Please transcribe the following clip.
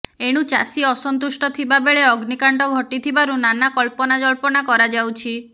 ଏଣୁ ଚାଷୀ ଅସନ୍ତୁଷ୍ଟ ଥିବା ବେଳେ ଅଗ୍ନିକାଣ୍ଡ ଘଟିଥିବାରୁ ନାନା କଳ୍ପନାଜଳ୍ପନା କରାଯାଉଛି